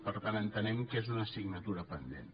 per tant entenem que és una assignatura pendent